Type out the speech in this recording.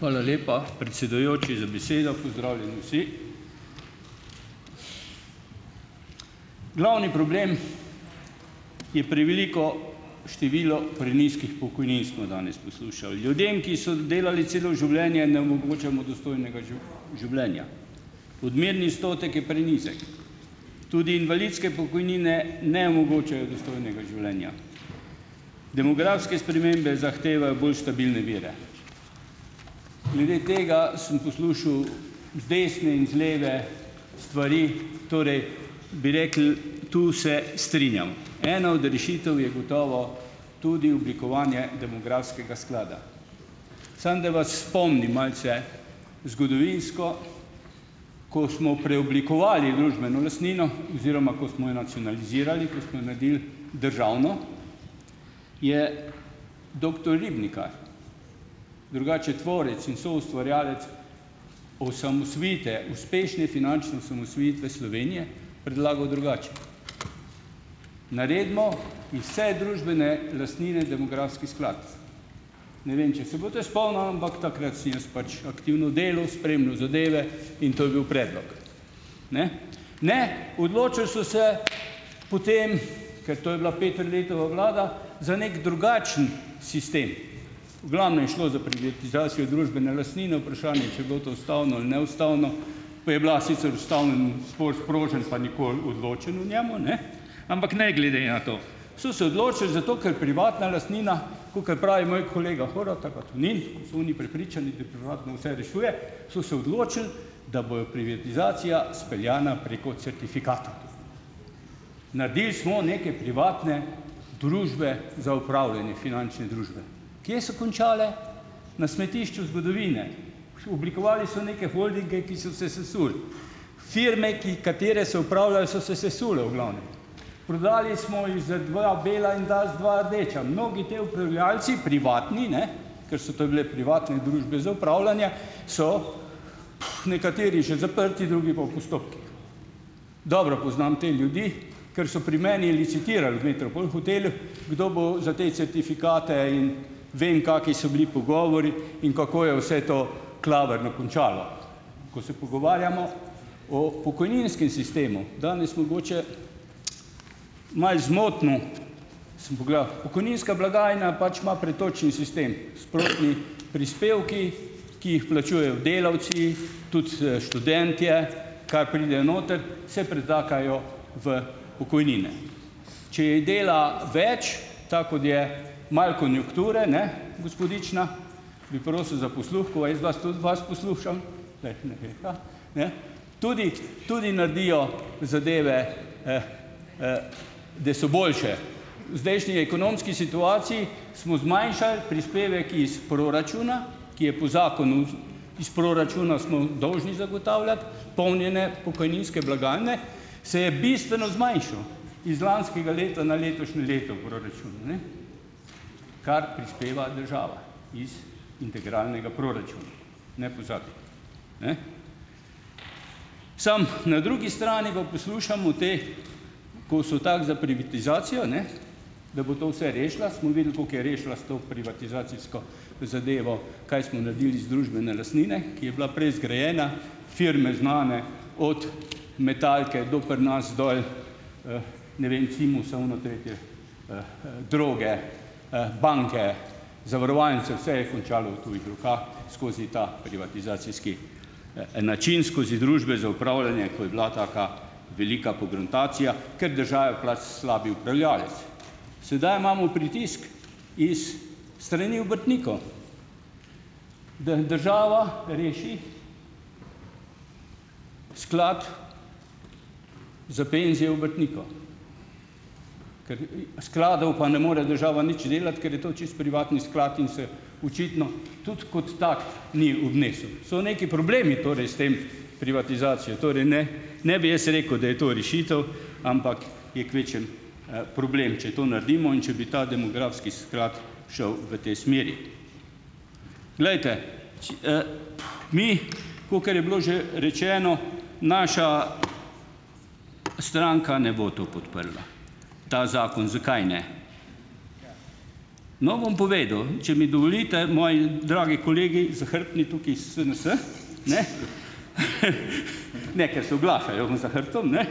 Hvala lepa, predsedujoči, za besedo, pozdravljeni vsi! Glavni problem je preveliko število prenizkih pokojnin, smo danes poslušali. Ljudem, ki so delali celo življenje, ne omogočamo dostojnega življenja. Odmerni je prenizek. Tudi invalidske pokojnine ne omogočajo dostojnega življenja. Demografske spremembe zahtevajo bolj stabilne vire. Glede tega sem poslušal z desne in z leve stvari, torej bi rekel, to se strinjam. Ena od rešitev je gotovo tudi oblikovanje demografskega sklada. Samo da vas spomnim, malce zgodovinsko. Ko smo preoblikovali družbeno lastnino, oziroma ko smo jo nacionalizirali, ko smo jo naredili državno, je doktor drugače tvorec in soustvarjalec osamosvojitve, uspešne in finančne osamosvojitve Slovenije predlagal drugače. Naredimo iz družbene lastnine demografski sklad. Ne vem, če se boste spomnili, ampak takrat sem jaz pač aktivno delal, spremljal zadeve in to je bil predlog, ne? Ne, odločili so se potem, ker to je bila Peterletova vlada, za neki drugačen sistem. V glavnem, šlo je za privatizacijo družbene lastnine, vprašanje , če je bilo to ustavno ali neustavno. To je bila sicer ustavnemu spor sprožen, pa nikoli odločeno o njem, ne? Ampak ne glede na to so se odločili, zato ker privatna lastnina, kakor pravi moj kolega Horvat ali pa Tonin, kot so oni prepričani, vse rešuje, so se odločili, da bojo privatizacija speljana preko certifikata. Naredili smo neke privatne družbe za upravljanje, finančne družbe. Kje so končale? Na smetišču zgodovine. Oblikovali so neke holdinge, ki so se sesuli, firme, ki, katere so upravljali, so se sesule v glavnem. Prodali smo jih za dva bela in dali dva rdeča, mnogi ti upravljavci, privatni, ne, ker so to bile privatne družbe za upravljanje, so nekateri že zaprti, drugi pa v postopkih. Dobro poznam te ljudi, ker so pri meni licitirali, kdo bo za te certifikate, in vem, kakšni so bili pogovori in kako je vse to klavrno končalo. Ko se pogovarjamo o pokojninskem sistemu, danes mogoče malo zmotno, samo pogledal, pokojninska blagajna pač ima pretočni sistem, splošni prispevki, ki jih plačujejo delavci , tudi, študentje, kar pride noter, se pretakajo v pokojnine. Če je dela več, tako kot je malo konjunkture, ne, gospodična, bi prosil za posluh, ko jaz vas tudi vas poslušam, ne, tudi tudi naredijo zadeve, da so boljše. V zdajšnji ekonomski situaciji smo zmanjšali prispevek iz proračuna, ki je po zakonu, iz proračuna smo dolžni zagotavljati polnjenje pokojninske blagajne, se je bistveno zmanjšal. Iz lanskega leta na letošnje leto proračun, ne, kar prispeva država iz integralnega proračuna. Ne pozabi. Ne. Samo na drugi pa poslušamo te, ko so tako za privatizacijo, ne, da bo to vse rešila, smo videli, koliko je rešila s to privatizacijsko zadevo, kaj smo naredili iz družbene lastnine, ki je bila prej zgrajena, firme znane, od Metalke do pri nas dol, ne vem, Cimos, ono, tretje, Droge, banke, zavarovalnice, vse je končalo v tujih rokah skozi ta privatizacijski način, skozi družbe za upravljanje, ko je bila taka velika pogruntacija, ker država je pač slab upravljavec. Sedaj imamo pritisk iz strani da država reši sklad z penzijo Ker, skladov pa ne more država nič delati, ker je to čisto privatni sklad in se očitno tudi kot tak ni obnesel. So neki problemi torej s to privatizacijo, torej, ne, ne bi jaz rekel, da je to rešitev, ampak je kvečjemu, problem, če to naredimo, in če bi ta demografski sklad šel v tej smeri. Glejte, mi, kakor je bilo že rečeno, naša stranka ne bo to podprla, ta zakon. Zakaj ne? No, bom povedal. Če mi dovolite, moji dragi kolegi, zahrbtni tukaj SNS, ne, ne, ker se oglašajo za hrbtom, ne,